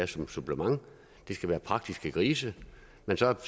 som et supplement det skal være praktiske grise men så